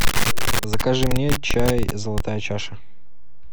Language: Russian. закажи мне чай золотая чаша